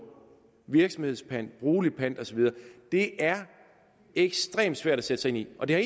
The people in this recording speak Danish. virksomhedspant brugelig pant og så videre det er ekstremt svært at sætte sig ind i og det har